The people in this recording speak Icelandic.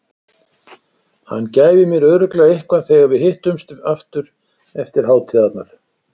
Hann gæfi mér örugglega eitthvað þegar við hittumst aftur eftir hátíðarnar.